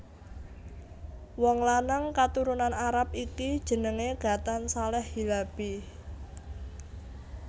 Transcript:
Wong lanang katurunan Arab iki jenengé Ghatan Saleh Hilabi